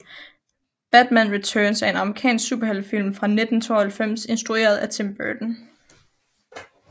Batman Returns er en amerikansk superheltefilm fra 1992 instrueret af Tim Burton